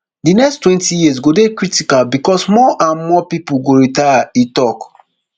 di next twenty years go dey critical becos more and more pipo go retire e tok